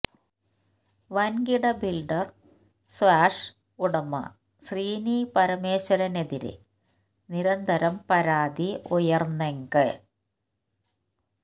വൻകിട ബിൽഡർ ഷ്വാസ് ഉടമ ശ്രീനി പരമേശ്വരനെതിരെ നിരന്തരം പരാതി ഉയർന്നെങ്ക